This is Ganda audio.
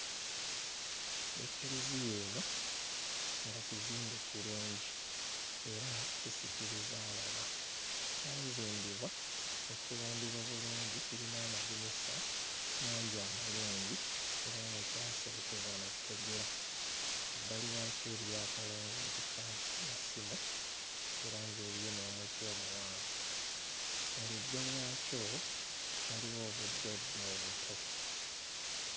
Ekereziya eno nga kizimbe kirungi era kisikiriza alaba. Kyazimbibwa ne kiwundibwa bulungi, kirina amadinisa mangi amalungi era nga kyaserekebwa na ttegula. Ebbali waakyo eriyo akalongooti k'amasimu era ng'eriyo n'omuti omuwanvu. Mu luggya lwakyo waliwo obuddoddo obuto.